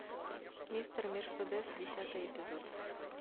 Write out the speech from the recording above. мистер мерседес десятый эпизод